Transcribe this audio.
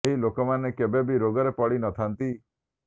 ଏହି ଲୋକମାନେ କେବେ ବି ରୋଗରେ ପଡ଼ି ନ ଥାଆନ୍ତି